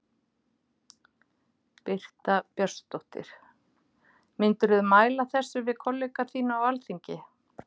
Birta Björnsdóttir: Myndirðu mæla með þessu við kollega þína á Alþingi?